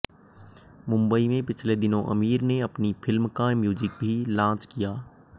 मुंबई में पिछले दिनों आमिर ने अपनी फिल्म का म्यूजिक भी लॉन्च किया